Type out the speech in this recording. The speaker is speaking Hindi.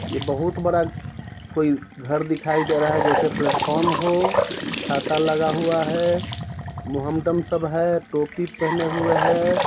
ये बहुत बड़ा कोई घर दिखाई दे रहा है जैसे प्लेटफॉर्म हो छाता लगा हुआ है मोहमडम सब है टोपी पहने हुए है।